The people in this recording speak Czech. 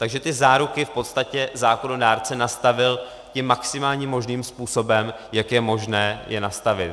Takže ty záruky v podstatě zákonodárce nastavil tím maximálním možným způsobem, jak je možné je nastavit.